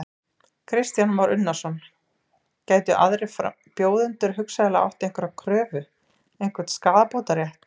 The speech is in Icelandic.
Kristján Már Unnarsson: Gætu aðrir bjóðendur hugsanlega átt einhverja kröfu, einhvern skaðabótarétt?